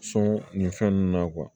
Sɔn nin fɛn nunnu na